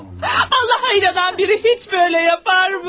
Allaha inanan biri heç belə edərmi?